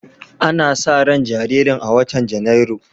Ana sa ran jaririn a watan Janairu.